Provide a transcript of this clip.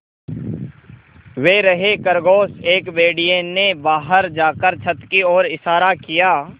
वे रहे खरगोश एक भेड़िए ने बाहर जाकर छत की ओर इशारा किया